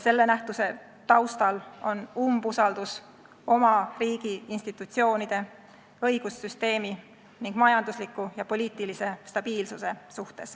Selle nähtuse taustal on umbusaldus oma riigi institutsioonide, õigussüsteemi ning majandusliku ja poliitilise stabiilsuse vastu.